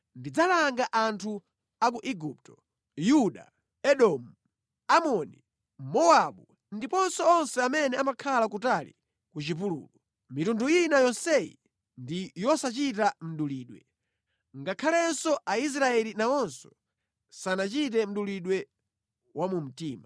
Ndidzalanga anthu a ku Igupto, Yuda, Edomu, Amoni, Mowabu, ndiponso onse amene amakhala kutali ku chipululu. Mitundu ina yonseyi ndi yosachita mdulidwe, ngakhalenso Aisraeli nawonso sanachite mdulidwe wa mu mtima.”